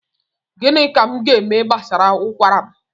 Gịnị ka m gaeme gbasara ụkwara m?